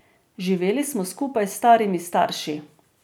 Živeli smo skupaj s starimi starši.